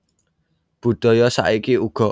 Budhala saiki uga